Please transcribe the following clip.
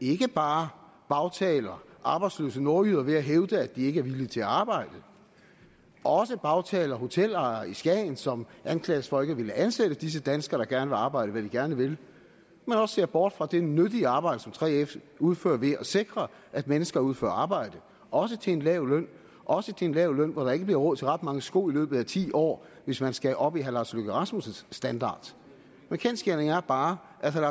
ikke bare bagtaler arbejdsløse nordjyder ved at hævde at de ikke er villige til at arbejde også bagtaler en hotelejer i skagen som anklages for at ikke at ville ansætte disse danskere der gerne vil arbejde hvad de gerne vil men også ser bort fra det nyttige arbejde som 3f udfører ved at sikre at mennesker udfører arbejdet også til en lav løn også til en lav løn hvor der ikke bliver råd til ret mange sko i løbet af ti år hvis man skal op i herre lars løkke rasmussens standard kendsgerningen er bare at herre